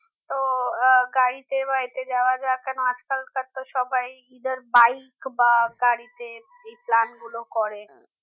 তো আহ গাড়িতে বা এতে যাওয়া যাক কেননা আজকালকার তো সবাই either bike বা গাড়িতে এই plan গুলো করে